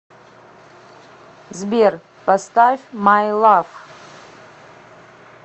сбер поставь май лав